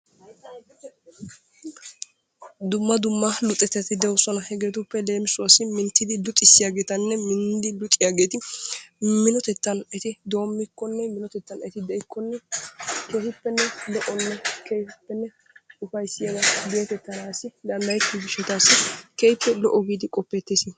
Dumma dumma luxettati de'oosona hegeetuppe leemissuwaassi loyttidi minttidi luxxissiyagetanne minidi luxxiyaageeti minotettan eti doommikkonne minotettan eti deikkonne lo"onne keehippe ufayssiyaba gettettanaassi danddayettiyo gishshatassi keehippe lo'o giidi qoppettees.